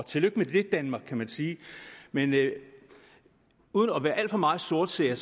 tillykke med det danmark kan man sige men uden at være alt for meget sortseer